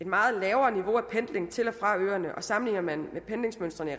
meget lavere niveau af pendling til og fra øerne og sammenligner man med pendlingsmønstrene i